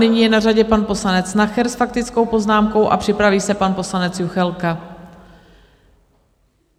Nyní je na řadě pan poslanec Nacher s faktickou poznámkou a připraví se pan poslanec Juchelka.